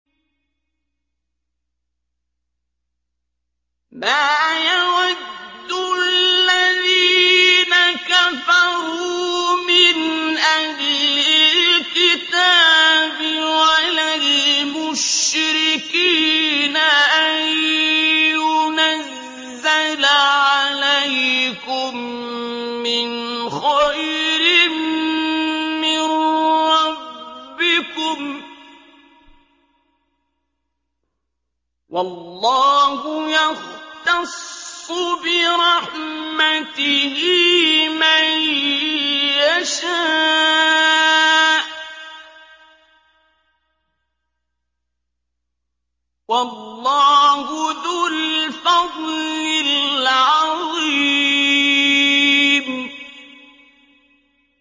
مَّا يَوَدُّ الَّذِينَ كَفَرُوا مِنْ أَهْلِ الْكِتَابِ وَلَا الْمُشْرِكِينَ أَن يُنَزَّلَ عَلَيْكُم مِّنْ خَيْرٍ مِّن رَّبِّكُمْ ۗ وَاللَّهُ يَخْتَصُّ بِرَحْمَتِهِ مَن يَشَاءُ ۚ وَاللَّهُ ذُو الْفَضْلِ الْعَظِيمِ